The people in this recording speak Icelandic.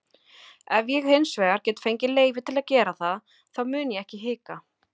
Ef ég hinsvegar get fengið leyfi til að gera það þá mun ég ekki hika.